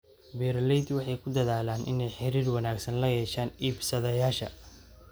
Beeraleydu waxay ku dadaalaan inay xiriir wanaagsan la yeeshaan iibsadayaasha.